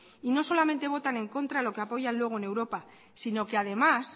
y no solamente votan en contra lo que apoyan luego en europa sino que además